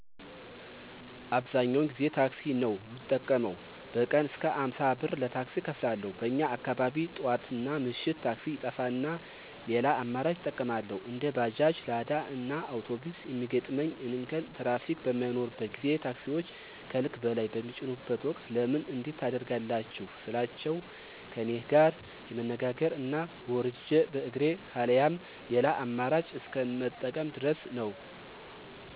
አብዛኛውን ጊዜ ታክሲ ነው ምጠቀመው። በቀን እስከ አምሳ ብር ለታክሲ እከፍላለሁ። በኛ አካባቢ ጥዋትናምሽት ታክሲ ይጠፋና ሌላ አማራጮችን እጠቀማለሁ። እንደ ባጃጅ፣ ላዳእና አውቶቢስ የሚገጥመኝ እንከን ትራፊክ በማይኖርበት ጊዜ ታክሲወች ከልክ በላይ በሚጭኑበት ወቅት ለምን እንዲህ ታደርጋላችሁ ስላቸው ከኔጋር የመነጋገር እና ወርጀ በእግሬ ካለያም ሌላ አመራጭ እስከ መጠቀም ድረስ ነው።